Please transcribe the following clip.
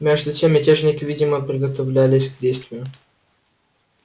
между тем мятежники видимо приготовлялись к действию